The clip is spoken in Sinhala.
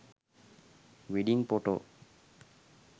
wedding photo